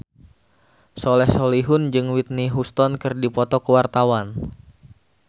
Soleh Solihun jeung Whitney Houston keur dipoto ku wartawan